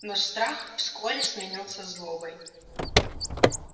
но страх вскоре сменился злобой